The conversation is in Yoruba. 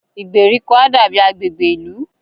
Ìgbèríko á dàbí agbègbè ìlú